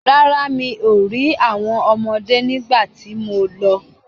Rárá, mi ò rí àwọn ọmọdé nígbà tí mo lọ.